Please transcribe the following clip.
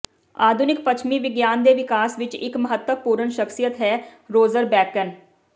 ਆਧੁਨਿਕ ਪੱਛਮੀ ਵਿਗਿਆਨ ਦੇ ਵਿਕਾਸ ਵਿੱਚ ਇਕ ਮਹੱਤਵਪੂਰਣ ਸ਼ਖ਼ਸੀਅਤ ਹੈ ਰੋਜ਼ਰ ਬੇਕਨ